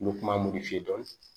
N bɛ kuma mun de f'i ye dɔɔnin